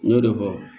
N y'o de fɔ